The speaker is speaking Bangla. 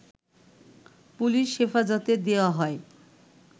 পুলিশ হেফাজতে দেয়া হয়